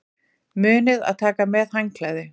Munið að taka með handklæði!